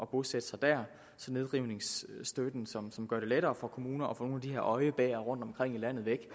bosætte sig der så nedrivningsstøtten som som gør det lettere for kommuner at få nogle af de her øjebæer rundtomkring i landet væk